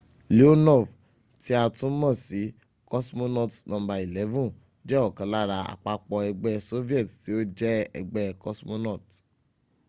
leonov tí a tún mọ̀ sí cosmonaut no. 11” jẹ́ ọ̀kan lára àpapọ̀ ẹgbẹ́̀ soviet tí ó jẹ́ ẹgbẹ́ cosmonauts